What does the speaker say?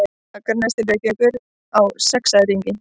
Akranesi til Reykjavíkur á sexæringi.